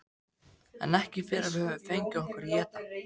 En ekki fyrr en við höfum fengið okkur að éta.